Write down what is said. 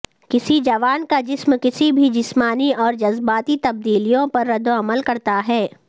کسی جوان کا جسم کسی بھی جسمانی اور جذباتی تبدیلیوں پر ردعمل کرتا ہے